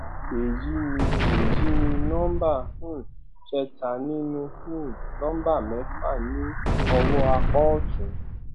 èyí ni èyí ni number um kẹta nínú um number mẹfà ní ọwọ apá òtún